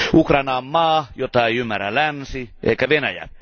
Ukraina on maa, jota ei ymmärrä länsi eikä Venäjä.